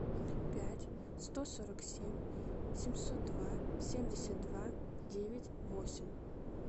пять сто сорок семь семьсот два семьдесят два девять восемь